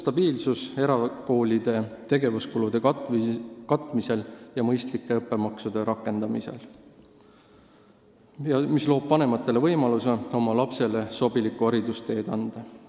Stabiilsus erakoolide tegevuskulude katmisel ja mõistlike õppemaksude rakendamisel loob vanematele võimaluse oma lapsele sobilikku haridusteed leida.